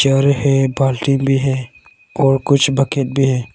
घर है बाल्टीन भी है और कुछ बकेट भी है।